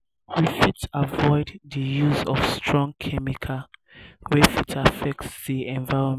we fit avoid di use of strong chemical wey fit affect di environment